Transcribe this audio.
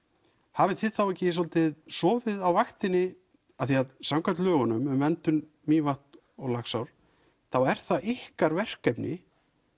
hafið þið þá ekki svolítið sofið á vaktinni af því að samkvæmt lögunum um verndun Mývatns og Laxár þá er það ykkar verkefni